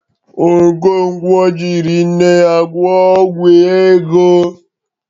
Okonkwo jịrị nne ya gwọ ọgwọ ego.